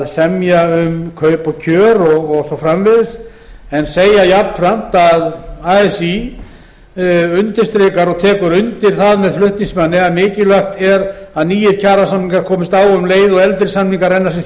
semja um kaup og kjör og svo framvegis en segja jafnframt að así undirstriki og taki undir það með flutningsmanni að mikilvægt sé að nýir kjarasamningar komist á um leið og eldri samningar renna sitt